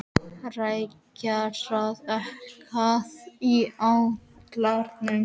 Rikharð, hækkaðu í hátalaranum.